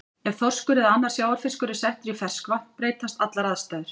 Ef þorskur eða annar sjávarfiskur er settur í ferskvatn breytast allar aðstæður.